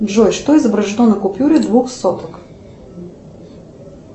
джой что изображено на купюре двух соток